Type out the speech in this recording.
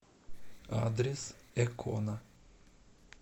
адрес экона